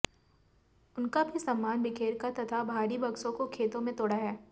उनका भी सामान बिखेरकर तथा भारी बक्सों को खेतों में तोड़ा है